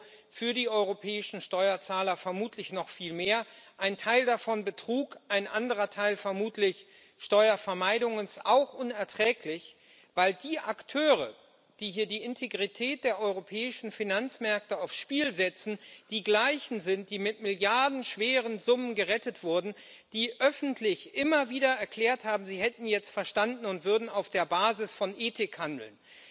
Euro für die europäischen Steuerzahler, vermutlich noch viel mehr, ein Teil davon Betrug, ein anderer Teil vermutlich Steuervermeidung und auch unerträglich, weil die Akteure, die hier die Integrität der europäischen Finanzmärkte aufs Spiel setzen, die Gleichen sind, die mit milliardenschweren Summen gerettet wurden, die öffentlich immer wieder erklärt haben, sie hätten jetzt verstanden und würden auf der Basis von Ethik handeln.